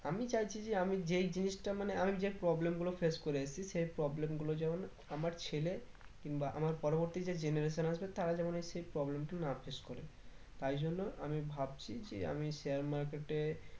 আমি চাইছি যে আমি যেই জিনিসটা মানে আমি যে problem গুলো face করে এসেছি সেই problem গুলো যেন আমার ছেলে কিংবা আমার পরবর্তী যে generation আসবে তারাযেন এর সেই problem টা না face করে তাই জন্য আমি ভাবছি যে আমি share market এ